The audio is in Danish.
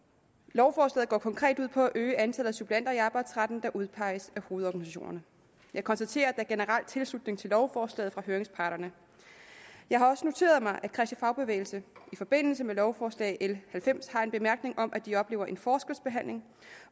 lovforslaget går konkret ud på at øge antallet af suppleanter i arbejdsretten der udpeges af hovedorganisationerne jeg konstaterer at er generel tilslutning til lovforslaget fra høringsparterne jeg har også noteret mig at kristelig fagbevægelse i forbindelse med lovforslag nummer l halvfems har en bemærkning om at de oplever en forskelsbehandling